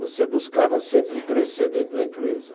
Você buscava sempre crescer dentro da empresa.